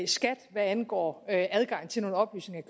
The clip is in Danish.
skat hvad angår adgang til nogle oplysninger